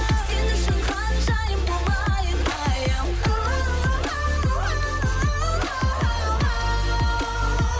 сен үшін ханшайым болайын айым ууу